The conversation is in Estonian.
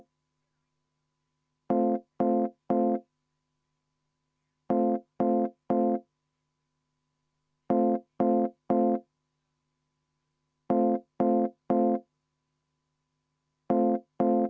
V a h e a e g